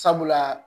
Sabula